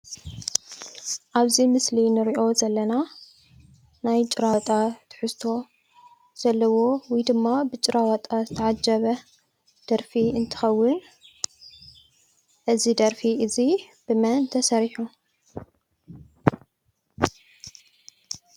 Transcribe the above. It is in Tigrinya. ኣብ እዚ ምስሊ እንሪኦ ዘለና ናይ ጭራዋጣ ትሕዝቶ ዘለዎ ወይ ድማ ብጭራዋጣ ዝተዓጀበ ደርፊ እንትኸዉን እዚ ደርፊ እዚ ብመን ተሰሪሑ?